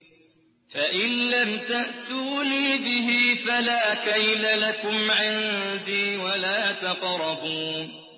فَإِن لَّمْ تَأْتُونِي بِهِ فَلَا كَيْلَ لَكُمْ عِندِي وَلَا تَقْرَبُونِ